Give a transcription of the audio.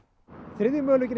þriðji möguleikinn er